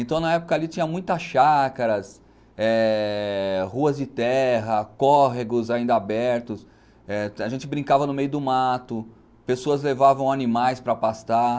Então na época ali tinha muitas chácaras, é ruas de terra, córregos ainda abertos, a gente brincava no meio do mato, pessoas levavam animais para pastar.